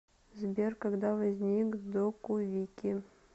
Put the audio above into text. сбер когда возник докувики